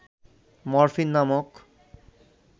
morphine নামক